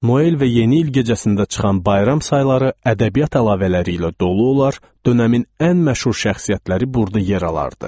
Noyel və yeni il gecəsində çıxan bayram sayıları ədəbiyyat əlavələri ilə dolu olar, dönəmin ən məşhur şəxsiyyətləri burada yer alırdı.